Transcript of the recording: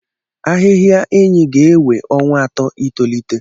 Ahịhịa Enyi ga-ewe ọnwa atọ itolite.